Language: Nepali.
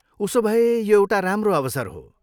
उसो भए, यो एउटा राम्रो अवसर हो।